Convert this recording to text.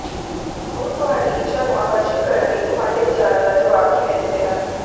ਦੂਤ ਤੁਹਾਡੀ ਇੱਛਾ ਨੂੰ ਆਕਰਸ਼ਿਤ ਕਰਨ ਲਈ ਤੁਹਾਡੇ ਵਿਚਾਰਾਂ ਦਾ ਜਵਾਬ ਕਿਵੇਂ ਦਿੰਦੇ ਹਨ